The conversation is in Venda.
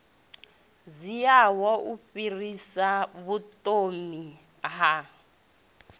dziaho u fhirsisa vhuthomi ha